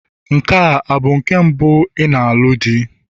Nke a bụ nke mbụ ị na-alụ?